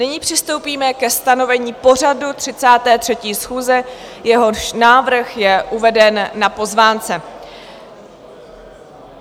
Nyní přistoupíme ke stanovení pořadu 33. schůze, jehož návrh je uveden na pozvánce.